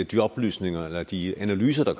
de oplysninger eller de analyser der